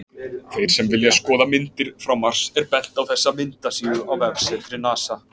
Þeim sem vilja skoða myndir frá Mars er bent á þessa myndasíðu á vefsetri NASA.